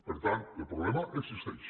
per tant el problema existeix